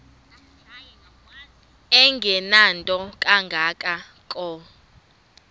engenanto kanga ko